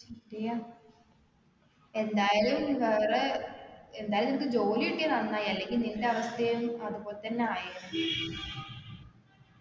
ശരിയാ എന്തായാലും വേറെ എന്തായാലും നിൻക്ക് ജോലി കിട്ടിയത് നന്നായി അല്ലെങ്കിൽ നിന്റെ അവസ്ഥയും അതുപോലതന്നെ ആയേനെ